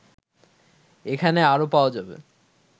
এখানে আরও পাওয়া যাবে